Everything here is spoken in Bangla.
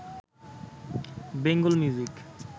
বেঙ্গল মিউজিক